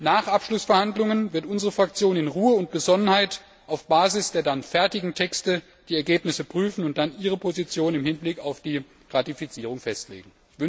Nach Abschluss der Verhandlungen wird unsere Fraktion in Ruhe und Besonnenheit auf der Grundlage der dann fertigen Texte die Ergebnisse prüfen und dann ihre Position im Hinblick auf die Ratifizierung festlegen.